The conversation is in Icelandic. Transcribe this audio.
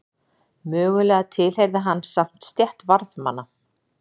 Mögulega tilheyrði hann samt stétt varðmanna.